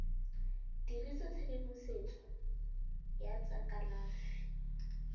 dirisa tshedimosetso ya tsa kalafi